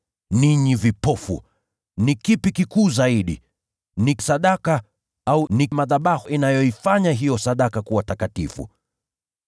Ninyi vipofu! Ni kipi kikuu zaidi: ni sadaka, au ni madhabahu yanayoifanya hiyo sadaka kuwa takatifu?